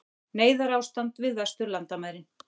Neyðarástand við vesturlandamærin